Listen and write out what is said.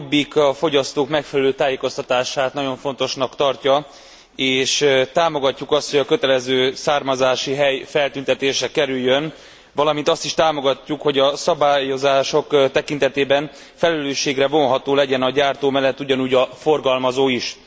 A Jobbik a fogyasztók megfelelő tájékoztatását nagyon fontosnak tartja és támogatjuk azt, hogy a kötelező származási hely feltüntetésre kerüljön, valamint azt is támogatjuk, hogy a szabályozások tekintetében felelősségre vonható legyen a gyártó mellett ugyanúgy a forgalmazó is.